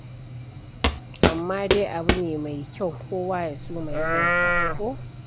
Amma dai abu ne mai kyau kowa ya so mai son sa ko?